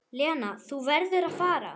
Lena, þú verður að fara!